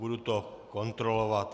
Budu to kontrolovat.